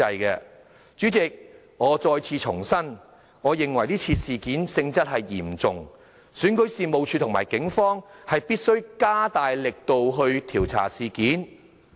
代理主席，我重申我認為這事件性質嚴重，選舉事務處和警方必須加大力度調查事件。